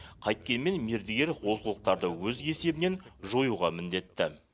қайткенмен мердігер олқылықтарды өз есебінен жоюға міндетті